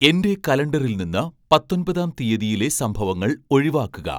എന്റെ കലണ്ടറിൽ നിന്ന് പത്തൊൻപതാം തീയതിയിലെ സംഭവങ്ങൾ ഒഴിവാക്കുക